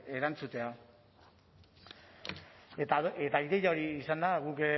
erantzutea eta ideia hori izan da guk